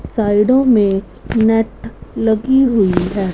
साइडों में नेट लगी हुई है।